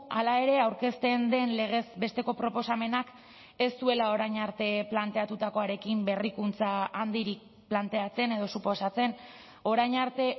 hala ere aurkezten den legez besteko proposamenak ez duela orain arte planteatutakoarekin berrikuntza handirik planteatzen edo suposatzen orain arte